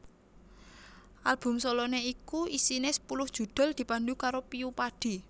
Album soloné iku isine sepuluh judhul dipandu karo Piyu Padi